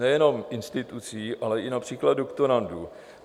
Nejenom institucí, ale i například doktorandů.